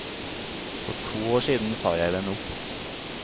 For to år siden sa jeg den opp.